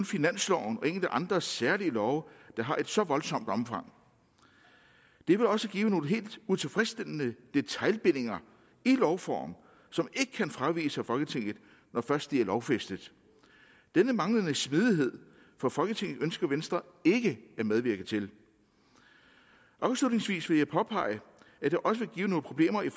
finansloven og enkelte andre særlige love der har et så voldsomt omfang det vil også give nogle helt utilfredsstillende detailbindinger i lovform som ikke kan fraviges af folketinget når først de er lovfæstet denne manglende smidighed for folketinget ønsker venstre ikke at medvirke til afslutningsvis vil jeg påpege at det også vil give nogle problemer i